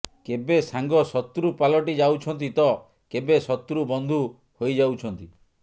କେବେ ସାଙ୍ଗ ଶତ୍ରୁ ପାଲଟିଯାଉଛନ୍ତି ତ କେବେ ଶତ୍ରୁ ବନ୍ଧୁ ହୋଇଯାଉଛନ୍ତି